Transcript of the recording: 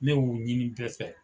Ne y'u ɲini bɛɛ fɛ.